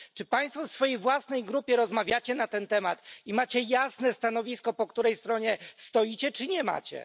Czy Państwo w swojej własnej grupie rozmawiacie na ten temat i macie jasne stanowisko po której stronie stoicie, czy nie macie?